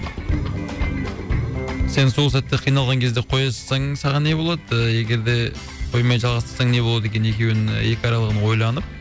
сен сол сәтте қиналған кезде қоя салсаң саған не болады ы егер де қоймай жалғастырсаң не болады екен екеуінің екі аралығын ойланып